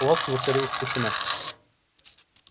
палатке воцарилась тишина